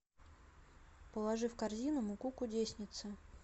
положи в корзину муку кудесница